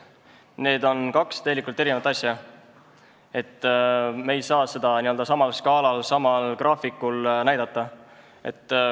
Need on kaks eri asja, me ei saa neid n-ö samal skaalal, samal graafikul näidata.